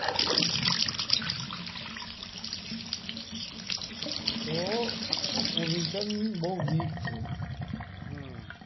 તો ઓપોજીસોન બોવ વીક છે હમ્મ